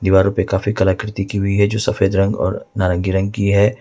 दीवारों पे काफी कलाकृति की हुई है जो सफेद रंग और नारंगी रंग की है।